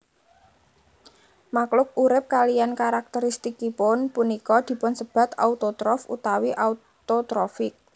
Makluk urip kaliyan karakteristikipun punika dipunsebat autotrof utawi autotrofik